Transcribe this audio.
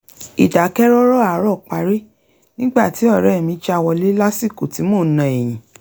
ìdákẹ́rọ́rọ́ àárọ̀ parí nígbà tí ọ̀rẹ́ mi já wọlé lásìkò tí mò ń na ẹ̀yìn